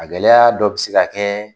A gɛlɛya dɔ bɛ se ka kɛ